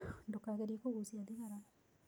Ndũkagerie kũgucia thigara.